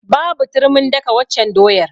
Babu turmin daka waccan doyar.